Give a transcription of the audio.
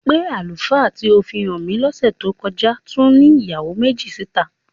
Pé àlùfáà tí ó fi hàn mí lọ́sẹ̀ tó kọ́já tún ní ìyàwó méjì síta?